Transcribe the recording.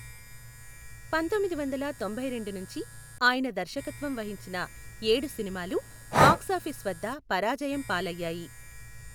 పందొమ్మిదివందల తొంభైరెండు నుంచి ఆయన దర్శకత్వం వహించిన ఏడు సినిమాలు బాక్సాఫీస్ వద్ద పరాజయం పాలయ్యాయి.